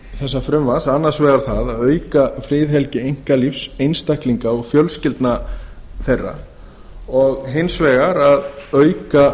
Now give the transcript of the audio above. þessa frumvarps annars vegar það að auka friðhelgi einkalífs einstaklinga og fjölskyldna þeirra og hins vegar að auka